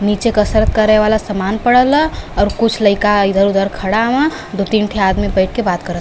नीचे कसरत करे वाला सामन पड़ल ह और कुछ लइका इधर उधर खड़ा हव। दो तीन ठे आदमी बैठ के बात करत --